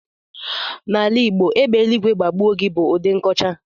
N'ala Igbo, "égbè eluigwe gbagbuo gị" bụ ụdị nkọcha.